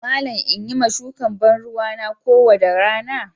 Malam in Yi ma shukan banruwa kowanda rana.